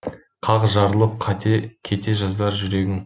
қақ жарылып кете жаздар жүрегің